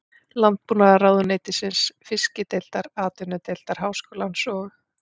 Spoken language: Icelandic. Landbúnaðarráðuneytisins, Fiskideildar Atvinnudeildar Háskólans og